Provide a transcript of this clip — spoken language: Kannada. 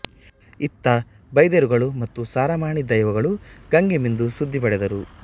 ಇತ್ತ ಬೈದೇರುಗಳು ಮತ್ತು ಸಾರಮಾಣಿ ದೈವಗಳುಗಂಗೆ ಮಿಂದು ಸುದ್ದಿ ಪಡೆದರು